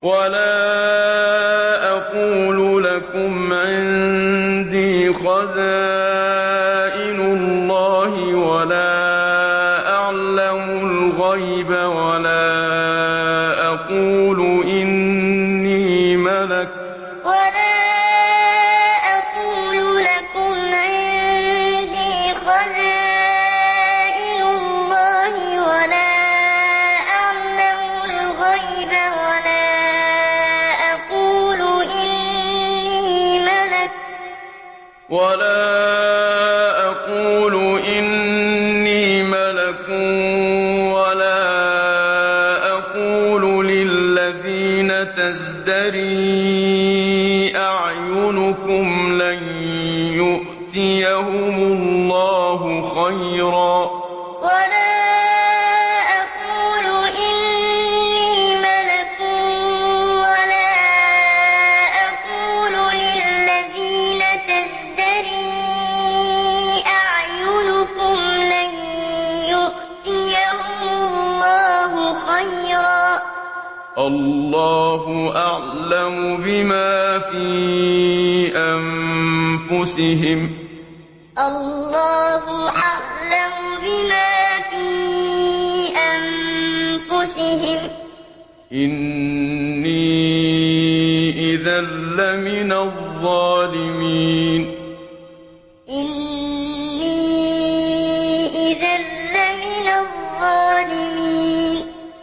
وَلَا أَقُولُ لَكُمْ عِندِي خَزَائِنُ اللَّهِ وَلَا أَعْلَمُ الْغَيْبَ وَلَا أَقُولُ إِنِّي مَلَكٌ وَلَا أَقُولُ لِلَّذِينَ تَزْدَرِي أَعْيُنُكُمْ لَن يُؤْتِيَهُمُ اللَّهُ خَيْرًا ۖ اللَّهُ أَعْلَمُ بِمَا فِي أَنفُسِهِمْ ۖ إِنِّي إِذًا لَّمِنَ الظَّالِمِينَ وَلَا أَقُولُ لَكُمْ عِندِي خَزَائِنُ اللَّهِ وَلَا أَعْلَمُ الْغَيْبَ وَلَا أَقُولُ إِنِّي مَلَكٌ وَلَا أَقُولُ لِلَّذِينَ تَزْدَرِي أَعْيُنُكُمْ لَن يُؤْتِيَهُمُ اللَّهُ خَيْرًا ۖ اللَّهُ أَعْلَمُ بِمَا فِي أَنفُسِهِمْ ۖ إِنِّي إِذًا لَّمِنَ الظَّالِمِينَ